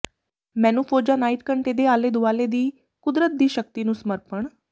ਮੈਨੂੰ ਫੌਜਾ ਨਾਈਟ ਘੰਟੇ ਦੇ ਆਲੇ ਦੁਆਲੇ ਦੀ ਕੁਦਰਤ ਦੀ ਸ਼ਕਤੀ ਨੂੰ ਸਮਰਪਣ